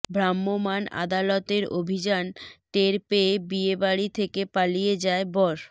ভ্রাম্যমাণ আদালতের অভিযান টের পেয়ে বিয়েবাড়ি থেকে পালিয়ে যায় বর